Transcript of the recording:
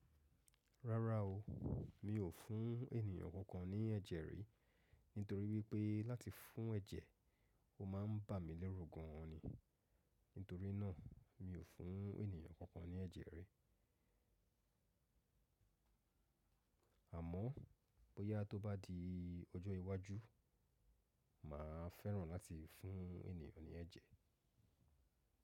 Rárá o, mi ò fún ènìyàn kankan ní ẹ̀jẹ̀ rí. Nítorí wípé láti fún ẹ̀jẹ̀, ó máa ń bà mí lérù gan ni. Nítorí náà, mi ò fún ènìyàn kankan ní ẹ̀jẹ̀ rí. Amo boya to ba di ojo iwaju, ma feran lati fun eniyan kan ni eje.